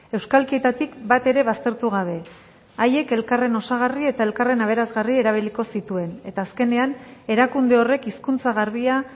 euskalkietatik bat ere baztertu gabe haiek elkarren osagarri eta elkarren aberasgarri erabiliko zituen eta azkenean erakunde horrek hizkuntza garbia